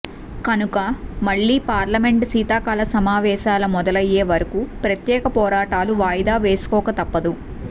కనుక మళ్ళీ పార్లమెంటు శీతాకాల సమావేశాల మొదలయ్యే వరకు ప్రత్యేక పోరాటాలు వాయిదా వేసుకోక తప్పదు